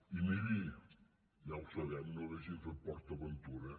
i miri ja ho sabem no hauríem fet port aventura